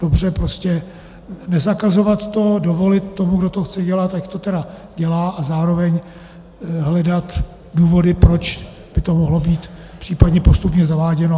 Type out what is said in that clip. Dobře, prostě nezakazovat to, dovolit tomu, kdo to chce dělat, ať to tedy dělá, a zároveň hledat důvody, proč by to mohlo být případně postupně zaváděno.